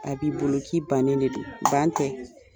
A b'i bolo k'i bannen de don . Ban tɛ.